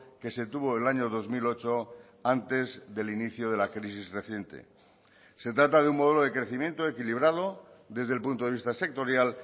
que se tuvo el año dos mil ocho antes del inicio de la crisis reciente se trata de un modelo de crecimiento equilibrado desde el punto de vista sectorial